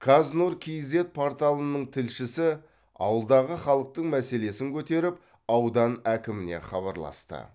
қаз нұр кейзэт порталының тілшісі ауылдағы халықтың мәселесін көтеріп аудан әкіміне хабарласты